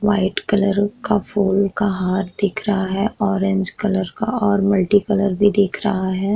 White colour का फूल का हार दिख रहा है ऑरेंज कलर का और मल्टी कलर भी दिख रहा हैं।